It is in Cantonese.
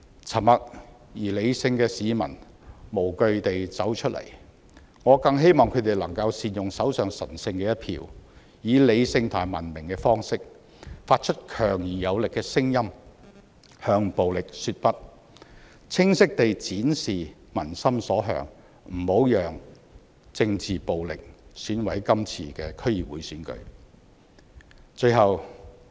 沉默和理性的市民無懼地走出來，我更希望他們能夠善用手上神聖的一票，以理性和文明的方式，發出強而有力的聲音，向暴力說"不"，清晰地展示民心所向，不要讓政治暴力損毀今次的區議會選舉。